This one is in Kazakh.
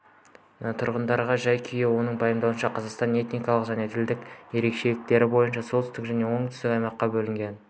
тұрғындардың жай-күйі оның пайымдауынша қазақстан этникалық және тілдік ерекшелік бойынша солтүстік және оңтүстік аймаққа бөлінген